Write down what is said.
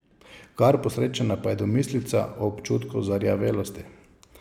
Kar posrečena pa je domislica o občutku zarjavelosti.